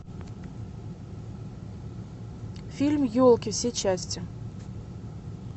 фильм елки все части